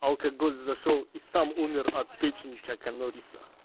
алкоголь зашёл и сам умер от печени чака норриса